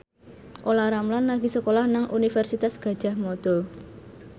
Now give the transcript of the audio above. Olla Ramlan lagi sekolah nang Universitas Gadjah Mada